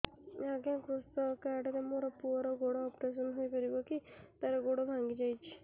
ଅଜ୍ଞା କୃଷକ କାର୍ଡ ରେ ମୋର ପୁଅର ଗୋଡ ଅପେରସନ ହୋଇପାରିବ କି ତାର ଗୋଡ ଭାଙ୍ଗି ଯାଇଛ